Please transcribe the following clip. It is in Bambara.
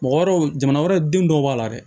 Mɔgɔ wɛrɛw jamana wɛrɛ denw dɔw b'a la dɛ